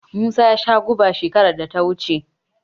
Musa ya sha guba shekarar da ta wuce.